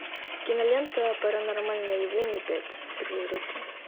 кинолента паранормальное явление пять призраки